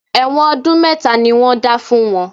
Ẹ̀wọ̀n ọdún mẹ́ta ni wọ́n dá fún wọn